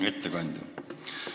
Hea ettekandja!